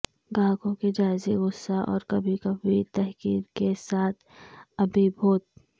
گاہکوں کے جائزے غصہ اور کبھی کبھی تحقیر کے ساتھ ابیبھوت